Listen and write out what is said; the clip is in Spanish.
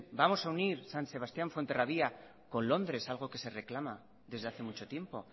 vamos a unir san sebastián fuenterrabía con londres algo que se reclama desde hace mucho tiempo